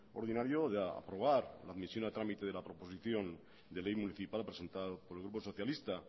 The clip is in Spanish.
ordinario de aprobar la admisión a tramite de la proposición de ley municipal presentado por el grupo socialista